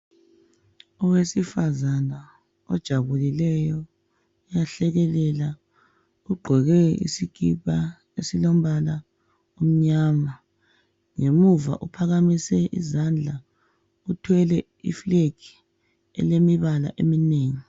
Owesifazana ojabulileyo uyahlekelela uqgoke isikipa esilombala omnyama ngemuva uphakamise izandla uthwele i flag elemibala eminengi .